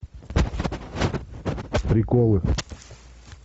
приколы